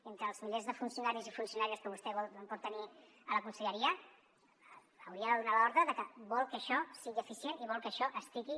entre els milers de funcionaris i funcionàries que vostè pot tenir a la conselleria hauria de donar l’ordre de que vol que això sigui eficient i vol que això estigui